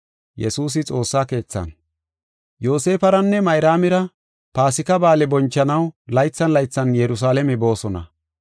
Yoosefaranne Mayraamira Paasika Ba7aale bonchanaw laythan laythan Yerusalaame boosona.